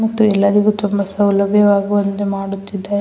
ಮತ್ತು ಎಲ್ಲರಿಗು ತುಂಬ ಸೌಲಭ್ಯವಾಗುವಂತೆ ಮಾಡುತ್ತಿದೆ.